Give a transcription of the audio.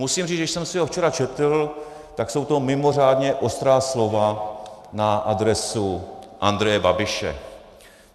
Musím říct, že když jsem si ho včera četl, tak jsou to mimořádně ostrá slova na adresu Andreje Babiše.